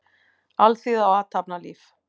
Alþýða og athafnalíf.